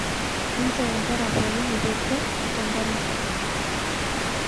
Nchoo nkera pookin epuo kwee tenkanisa